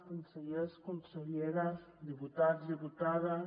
consellers conselleres diputats diputades